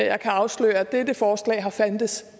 jeg kan afsløre at dette forslag har fandtes